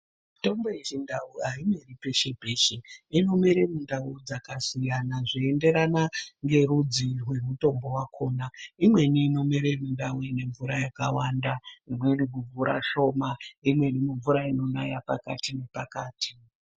Mitombo yechindau aimeri peshe peshe. Inomere mundau dzakasiyana zveienderana ngerudzi rwemutombo wakhona .Imweni inomere mundau ine mvura yakawanda, imweni mumvura shoma ,imweni mumvura inonaya pakati nepakati.